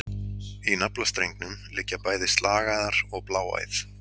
Í naflastrengnum liggja bæði slagæðar og bláæð.